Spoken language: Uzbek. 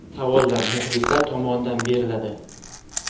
Savollar muxlislar tomonidan beriladi.